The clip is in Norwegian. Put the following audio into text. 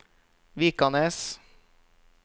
Vikanes